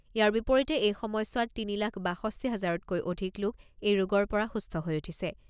ইয়াৰ বিপৰীতে এই সময়ছোৱাত তিনি লাখ বাষষ্ঠি হাজাৰতকৈ অধিক লোক এই ৰোগৰ পৰা সুস্থ হৈ উঠিছে।